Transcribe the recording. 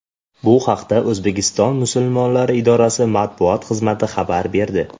Bu haqda O‘zbekiston musulmonlari idorasi matbuot xizmati xabar berdi .